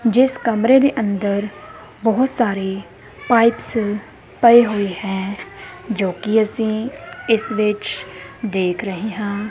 ਜਿਸ ਕਮਰੇ ਦੇ ਅੰਦਰ ਬਹੁਤ ਸਾਰੇ ਪਾਈਪਸ ਪਏ ਹੋਏ ਹੈ ਜੋ ਕਿ ਅਸੀਂ ਇਸ ਵਿੱਚ ਦੇਖ ਰਹੇ ਹਾਂ।